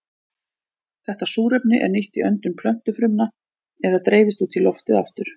Þetta súrefni er nýtt í öndun plöntufrumna eða dreifist út í loftið aftur.